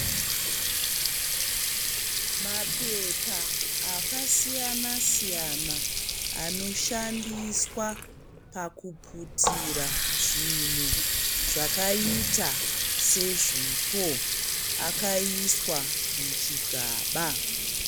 Mapepa akasiyanasiyana anoshandiswa pakuputira zvinhu zvakaita sezvipo akaiswa muchigaba.